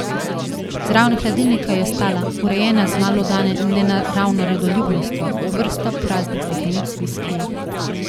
Zraven hladilnika je stala, urejena z malodane nenaravno redoljubnostjo, vrsta praznih steklenic viskija.